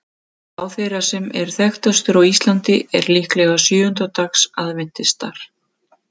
Sá þeirra sem er þekktastur á Íslandi er líklega sjöunda dags aðventistar.